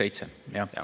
567, jah.